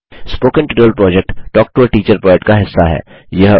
spoken tutorial project talk to a teacher project का हिस्सा है